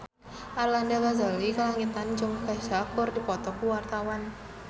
Arlanda Ghazali Langitan jeung Kesha keur dipoto ku wartawan